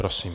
Prosím.